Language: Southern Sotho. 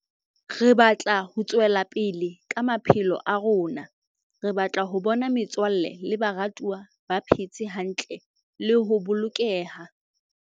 Re batla ho tswela pele ka maphelo a rona. Re batla ho bona metswalle le baratuwa ba phe tse hantle le ho bolokeha.